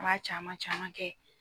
An b'a caman caman kɛ